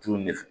Tulu de f